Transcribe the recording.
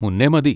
മുന്നെ മതി.